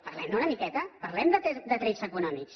parlem ne una miqueta parlem de trets econòmics